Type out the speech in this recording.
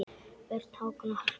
Börn: Hákon og Harpa.